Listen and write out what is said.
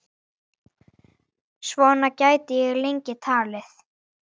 Svona gæti ég lengi talið.